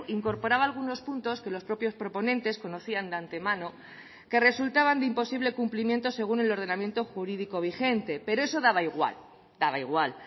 incorporaba algunos puntos que los propios proponentes conocían de antemano que resultaban de imposible cumplimiento según el ordenamiento jurídico vigente pero eso daba igual daba igual